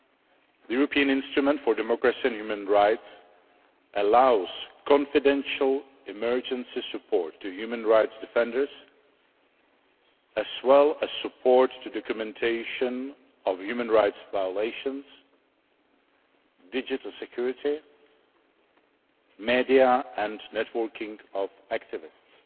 The European instrument for democracy and human rights allows confidential emergency support to human rights defenders, as well as support for the documentation of human rights violations, digital security, media and networking of activists.